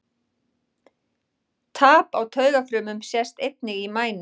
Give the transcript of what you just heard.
Tap á taugafrumum sést einnig í mænu.